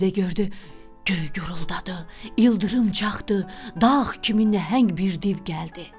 Bir də gördü göy guruldadı, ildırım çaxdı, dağ kimi nəhəng bir div gəldi.